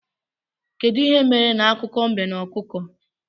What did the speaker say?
Kedụ ihe mere na akụkọ mbe na ọkụkọ?